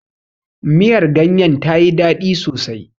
Miyar ganyen ta yi daɗi sosai.